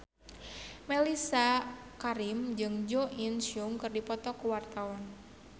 Mellisa Karim jeung Jo In Sung keur dipoto ku wartawan